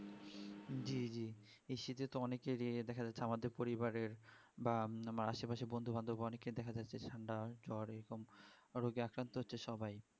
হি হি এই শীতে তো অনেকেরই এ দেখা যাই সামাজিক পরিবারের বা আসে পশে বন্ধু বান্ধব অনেকের দেখা যাচ্ছে যে ঠান্ডা জোর এরকম ওরা jeket পড়ছে সবাই